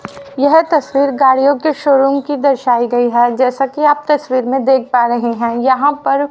यह तस्वीर गाड़ियों के शोरूम की दर्शाई गई है जैसा कि आप तस्वीर में देख पा रहे हैं यहां पर--